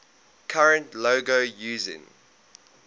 current logo using